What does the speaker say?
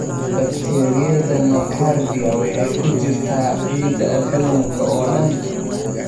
Bakteeriyada nocardia waxay ku jirtaa ciidda adduunka oo dhan.